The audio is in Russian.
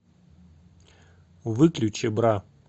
выключи бра